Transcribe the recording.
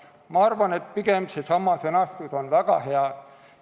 Ma arvan, et see sõnastus on väga hea.